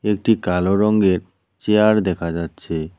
একটি কালো রঙ্গের চেয়ার দেখা যাচ্ছে।